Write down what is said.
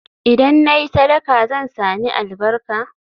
Idan na yi sadaka, zan sami albarka?